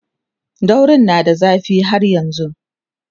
daurin na da zafi har yanzun